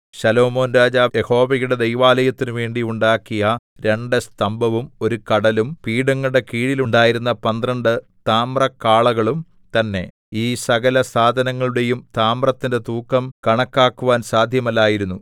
ശലോമോൻ രാജാവ് യഹോവയുടെ ദൈവാലയത്തിനു വേണ്ടി ഉണ്ടാക്കിയ രണ്ടു സ്തംഭവും ഒരു കടലും പീഠങ്ങളുടെ കീഴിൽ ഉണ്ടായിരുന്ന പന്ത്രണ്ട് താമ്രക്കാളകളും തന്നെ ഈ സകല സാധനങ്ങളുടെയും താമ്രത്തിന്റെ തൂക്കം കണക്കാക്കുവാൻ സാദ്ധ്യമല്ലായിരുന്നു